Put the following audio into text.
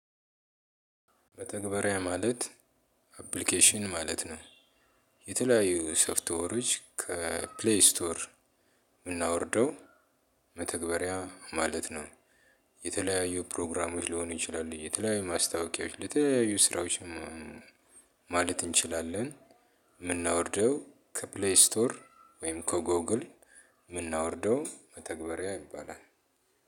መተግበሪያ ማለት አፕሊኬሽን ማለት ነው የተለያዩ ሶፍትዌሮች ከፕሌይ ስቶር የምናወርደው መተግበሪያ ማለት ነው የተለያዩ ፕሮግራሞች ሊሆኑ ይችላሉ የተለያዩ ማስታወቂያዎች ለተለያዩ ስራዎችም ማለት እንችላለን የምናወርደው ከፕሌይ ስቶር ወይም ከጎግል የምናወርደው መተግበሪያ ይባላል።